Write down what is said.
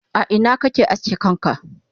a Ina kake aske kanka?